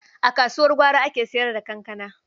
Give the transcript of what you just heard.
A kasuwar gwari ake sayar da kankana.